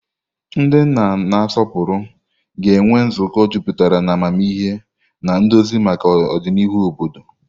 Ndị nna na-asọpụrụ ga-enwe nzukọ jupụtara na amamihe na nduzi maka ọdịnihu obodo.